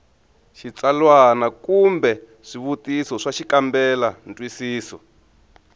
xitsalwana kumbe swivutiso swa xikambelantwisiso